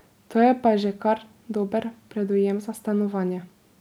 To je pa že kar dober predujem za stanovanje.